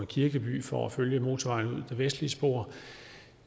kirkeby for at følge motorvejen det vestlige spor